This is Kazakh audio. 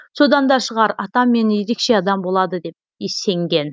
содан да шығар атам мені ерекше адам болады деп сенген